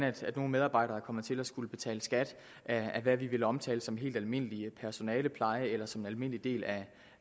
nogle medarbejdere er kommet til at skulle betale skat af hvad vi vil omtale som helt almindelig personalepleje eller som en almindelig del af